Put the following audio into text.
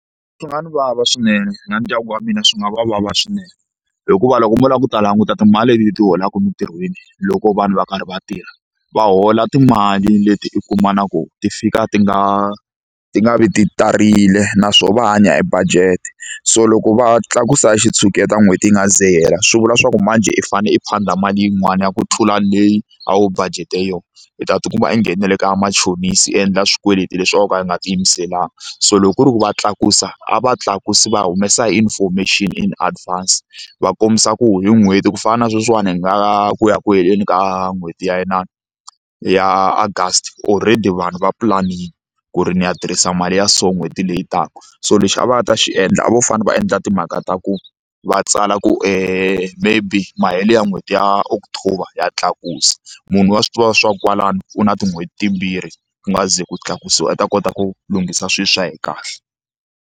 Swi nga ni vava swinene na ndyangu wa mina swi nga va vava swinene hikuva loko mo lava ku ta languta timali leti hi ti holaka emintirhweni loko vanhu va karhi va tirha va hola timali leti u kuma na ku ti fika ti nga ti nga vi ti tarile naswona va hanya hi budget so loko va tlakusa hi xitshuketa n'hweti yi nga se ze yi hela swi vula swa ku manjhe i fanele i phanda mali yin'wani ya ku tlula leyi a wu budget-e yona i ta tikuma i nghene na le ka vamachonisi i endla swikweleti leswi a va ka va nga ti yimiselanga so loko ku ri ku va tlakusa a va tlakusi va humesa information in advance va kombisa ku hi n'hweti ku fana na sweswiwani hi nga ku ya ku heleni ka n'hweti ya ya August already vanhu va planning ku ri ni ya tirhisa mali ya so n'hweti leyi taka so lexi a va nga ta xi endla a vo fane va endla timhaka ta ku va tsala ku maybe mahelo ya n'hweti ya October ha tlakusa munhu wa swi tiva swa ku kwalano u na tin'hweti timbirhi ku nga se za ku tlakusiwa u ta kota ku lunghisa swilo swa yena kahle.